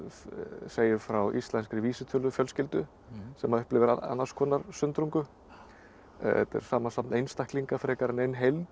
segir frá íslenskri vísitölufjölskyldu sem upplifir annars konar sundrungu þetta er samansafn einstaklinga frekar en ein heild